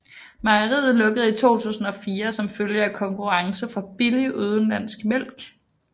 Mejeriet lukkede i 2004 som følge af konkurrence fra billig udenlandsk mælk